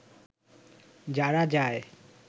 যারা যায়